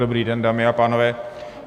Dobrý den, dámy a pánové.